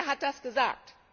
Wer hat das gesagt?